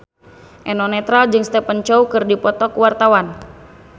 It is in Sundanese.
Eno Netral jeung Stephen Chow keur dipoto ku wartawan